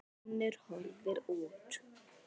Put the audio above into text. Finnur horfði út.